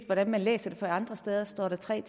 hvordan man læser det for andre steder står der tre